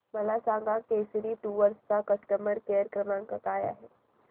मला सांगा केसरी टूअर्स चा कस्टमर केअर क्रमांक काय आहे